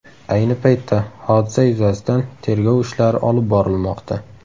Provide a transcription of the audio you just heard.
Ayni paytda hodisa yuzasidan tergov ishlari olib borilmoqda.